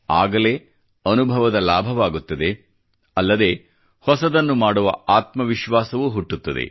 ಆಗಲೇ ಅನುಭವದ ಲಾಭವಾಗುತ್ತದೆ ಅಲ್ಲದೆ ಹೊಸದನ್ನು ಮಾಡುವ ಆತ್ಮ ವಿಶ್ವಾಸವೂ ಹುಟ್ಟುತ್ತದೆ